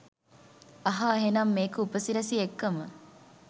අහා එහෙනම් මේක උපසිරැසි එක්කම